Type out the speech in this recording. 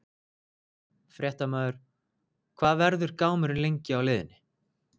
Fréttamaður: Hvað verður gámurinn lengi á leiðinni?